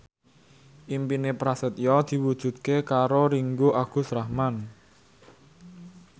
impine Prasetyo diwujudke karo Ringgo Agus Rahman